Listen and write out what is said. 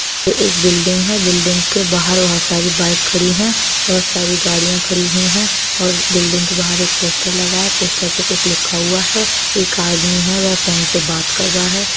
एक बिल्डिंग हैं। बिल्डिंग के बाहर बहोत सारी बाइक खड़ी हैं। बहोत सारी गाड़िया खड़ी हुई हैं और बिल्डिंग के बाहर एक पोस्टर लगा है। पोस्टर पे कुछ लिखा हुआ है। एक आदमी है वे फोन पे बात कर रहा है।